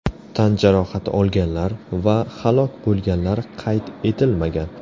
Tan jarohati olganlar va halok bo‘lganlar qayd etilmagan.